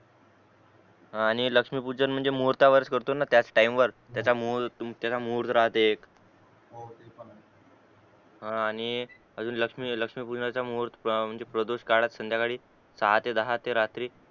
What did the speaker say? हा आणि लक्ष्मी पूजन म्हणजे मुहूर्तावरच करतो ना त्याच तिने वर त्याच त्याचा मुहूर्त त्याच मुहूर्त राहते एक हो ते पण आहे हा आणि लक्ष्मी लक्ष्मी पूजनाचा मुहूर्त म्हणजे प्रदुष्ट काळात संद्याकाळी सहा ते दहा रात्री